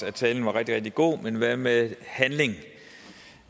at talen var rigtig rigtig god men hvad med handling